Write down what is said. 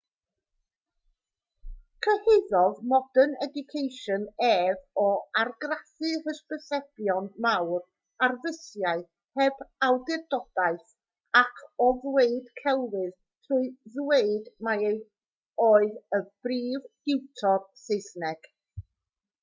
cyhuddodd modern education ef o argraffu hysbysebion mawr ar fysiau heb awdurdodaeth ac o ddweud celwydd trwy ddweud mai ef oedd y prif diwtor saesneg